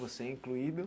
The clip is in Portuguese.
Você incluído.